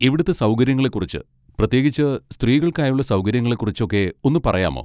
ഇവിടുത്തെ സൗകര്യങ്ങളെ കുറിച്ച് പ്രത്യേകിച്ച് സ്ത്രീകൾക്കായുള്ള സൗകര്യങ്ങളെ കുറിച്ചൊക്കെ ഒന്ന് പറയാമോ?